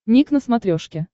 ник на смотрешке